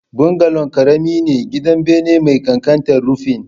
Bungalow ƙarami ne, gidan bene mai ƙanƙantar rufin